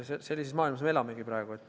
Sellises maailmas me elame praegu.